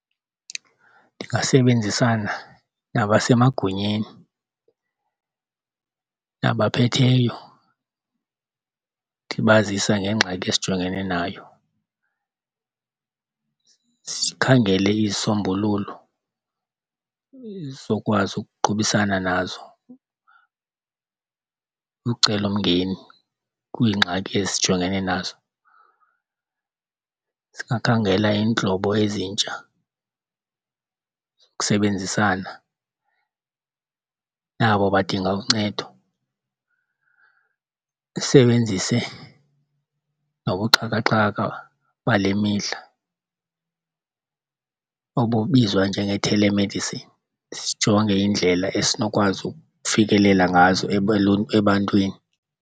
Ndingasebenzisana nabasemagunyeni nabaphetheyo ndibazisa ngengxaki esijongene nayo. Sikhangele isisombululo esizokwazi ukuqhubisana nazo ucelomngeni kwiingxaki esijongene nazo. Singakhangela iintlobo ezintsha zokusebenzisana nabo badinga uncedo, sisebenzise nobuxhakaxhaka bale mihla obubizwa njenge-telemedicine. Sijonge iindlela esinokwazi ukufikelela ngazo ebantwini.